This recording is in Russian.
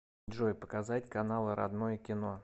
джой показать каналы родное кино